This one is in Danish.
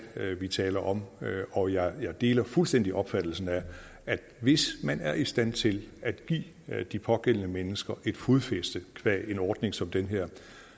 vi taler om og jeg deler fuldstændig opfattelsen af at hvis man er i stand til at give de pågældende mennesker et fodfæste qua en ordning som den her